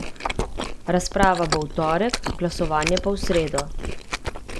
Razprava bo v torek, glasovanje pa v sredo.